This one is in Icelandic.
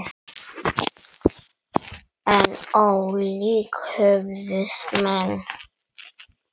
En ólíkt höfðust menn að.